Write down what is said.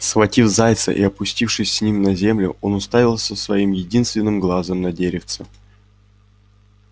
схватив зайца и опустившись с ним на землю он уставился своим единственным глазом на деревце